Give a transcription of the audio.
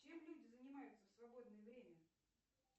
чем люди занимаются в свободное время